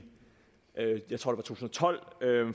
to tusind og tolv